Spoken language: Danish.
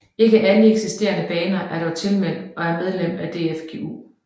Ikke alle eksisterende baner er dog tilmeldt og er medlem af DFGU